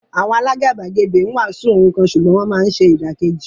Àwọn alágàbàgebè ń wàásù ohun kan ṣùgbọ́n wọ́n máa ń ṣe ìdàkejì.